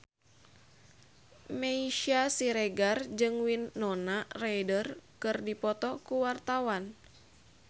Meisya Siregar jeung Winona Ryder keur dipoto ku wartawan